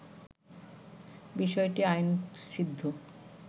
বিষয়টি আইনসিদ্ধ